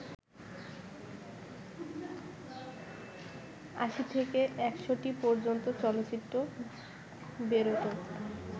৮০ থেকে ১০০টি পর্যন্ত চলচ্চিত্র বেরোত